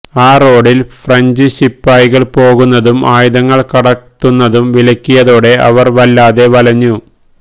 ആ റോഡിൽ ഫ്രഞ്ച് ശിപായികൾ പോകുന്നതും ആയുധങ്ങൾ കടത്തുന്നതും വിലക്കിയതോടെ അവർ വല്ലാതെ വലഞ്ഞു